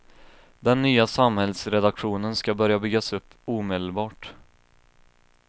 Den nya samhällsredaktionen ska börja byggas upp omedelbart.